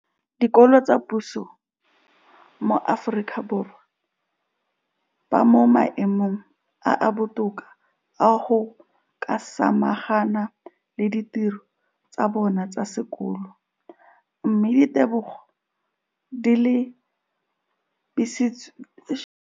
Dikolo tsa puso mo Aforika Borwa ba mo maemong a a botoka a go ka samagana le ditiro tsa bona tsa sekolo, mme ditebogo di lebisiwa kwa lenaaneng la puso le le netefatsang gore mala a bona a kgorisitswe ka dijo tse di tletseng dikotla.